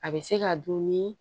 A bɛ se ka dun ni